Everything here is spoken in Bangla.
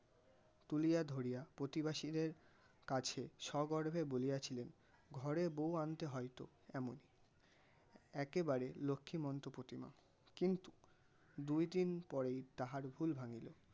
তুলিয়া ধরিয়া প্রতিবেশীদের কাছে স্বগর্বে বলিয়াছিলেন, ঘরের বউ আনতে হয় তো এমনই. একেবারে লক্ষ্মীমন্ত প্রতিমা কিন্তু দুই দিন পরেই তাহার ভুল ভাঙ্গে.